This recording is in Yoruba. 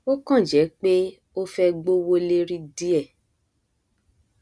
ó kàn jẹ pé ó fẹ gbówó lérí díẹ